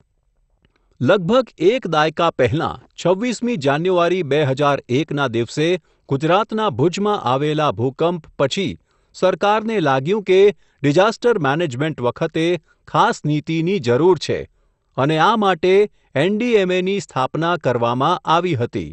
લગભગ એક દાયકા પહેલાં, છવ્વીસ મી જાન્યુવારી, બે હજાર એક ના દિવસે, ગુજરાતના ભુજમાં આવેલા ભુકંપ, પછી, સરકારને લાગ્યું કે, ડિઝાસ્ટર મેનેજમેન્ટ વખતે, ખાસ નીતિની જરુર છે, અને આ માટે એનડીએમએની, સ્થાપના કરવામાં, આવી હતી.